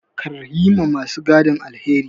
Kar yi wa ma su gadin alheri.